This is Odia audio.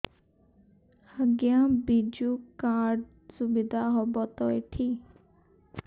ଆଜ୍ଞା ବିଜୁ କାର୍ଡ ସୁବିଧା ହବ ତ ଏଠି